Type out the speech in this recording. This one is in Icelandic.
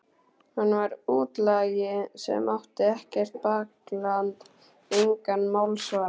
Hann var útlagi sem átti ekkert bakland, engan málsvara.